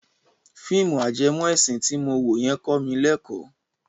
Fíìmù ajẹmọ ẹ̀sìn ti mo wo yẹn kọ mi lẹ́kọ̀ọ́.